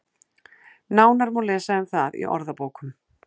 Nánar má lesa um það í orðabókum.